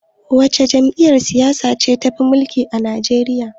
Wace jam'iyyar siyasa ce take mulkar Nigeria?